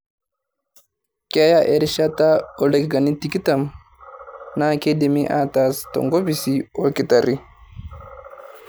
Keya erishata ooldakikani tikitam naa keidimi aataas tenkopisi olktarri.